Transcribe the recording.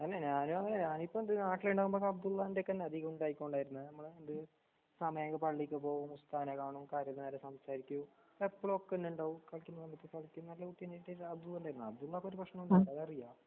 തന്നെ ഞാനു ഞാനിപ്പെന്ത് നാട്ടിലുണ്ടാവുമ്പോ അബ്ദുള്ളാന്റെക്കന്ന് അധികൊണ്ടായികൊണ്ടിരുന്നേ. നമ്മള് അത് സമയങ്പള്ളിക്ക്പോകും ഉസ്താനെകാണും കാര്യം നേരെസംസാരിക്കും എപ്പോളൊക്കെന്നുണ്ടാവും അബ്ദുള്ളാക്കൊരു പ്രശ്നുണ്ടാകില്ല അതറിയാ